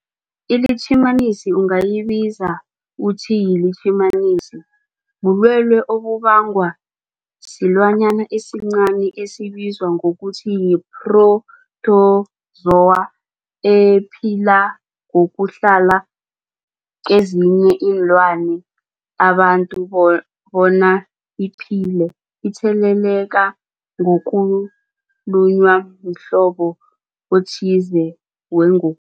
iLitjhimanisi ungayibiza uthiyilitjhimanisi, bulwelwe obubangwa silwanyana esincani esibizwa ngokuthiyi-phrotozowa ephila ngokuhlala kezinye iinlwana, abantu bo bona iphile itheleleka ngokulunywa mhlobo othize wengo